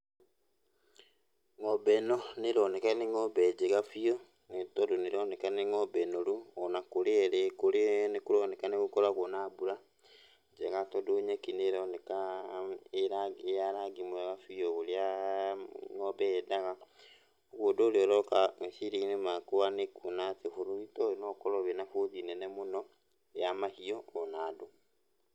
Ng'ombe ĩno nĩroneka nĩ ng'ombe njega biũ, nĩ tondũ nĩroneka nĩ ng'ombe noru ona kũrĩa ĩrĩ, nĩkũroneka nĩgũkoragwo na mbura, njega tondũ nyeki nĩroneka ĩ rangi ĩya rangi mwega biũ ũrĩa ng'ombe yendaga. Ũguo ũndũ ũrĩa ũroka meciria-inĩ makwa nĩ kuona atĩ bũrũri ta ũyũ no ũkorwo wĩna bũthi nene mũno, ya mahiũ ona andũ.